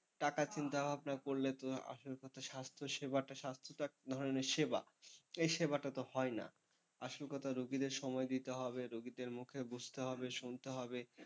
টাকার চিন্তা ভাবনা করলে তো আসল কথা স্বাস্থ্যসেবাটা, স্বাস্থ্য তো এক ধরনের সেবা, এই সেবাটা তো হয়না। আসল কথা রুগীদের সময় দিতে হবে রুগীদের মুখে বুঝতে হবে শুনতে হবে,